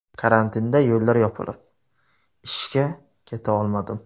Karantinda yo‘llar yopilib, ishga keta olmadim.